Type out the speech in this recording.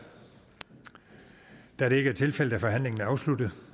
da det ikke er tilfældet er forhandlingen afsluttet